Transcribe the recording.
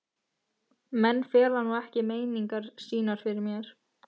Menn fela nú ekki meiningar sínar fyrir mér.